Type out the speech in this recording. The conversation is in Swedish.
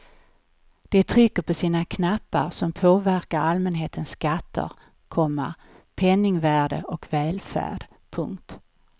De trycker på sina knappar som påverkar allmänhetens skatter, komma penningvärde och välfärd. punkt